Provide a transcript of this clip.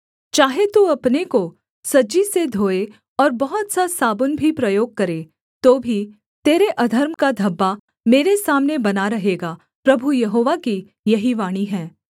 चाहे तू अपने को सज्जी से धोए और बहुत सा साबुन भी प्रयोग करे तो भी तेरे अधर्म का धब्बा मेरे सामने बना रहेगा प्रभु यहोवा की यही वाणी है